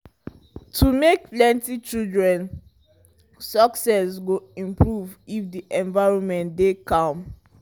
to make plenty children success go improve if the environment dey calm